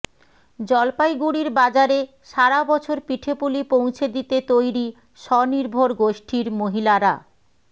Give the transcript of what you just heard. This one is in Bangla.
জলপাইগুড়ির বাজারে সারা বছর পিঠেপুলি পৌঁছে দিতে তৈরি স্বনির্ভর গোষ্ঠীর মহিলারা